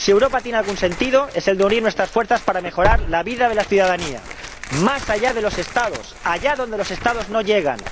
Si Europa tiene algún sentido, es el de unir nuestras fuerzas para mejorar la vida de la ciudadanía, más allá de los Estados, allá donde los Estados no llegan.